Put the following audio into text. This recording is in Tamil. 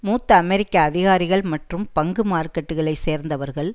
மூத்த அமெரிக்க அதிகாரிகள் மற்றும் பங்கு மார்க்கெட்டுகளை சேர்ந்தவர்கள்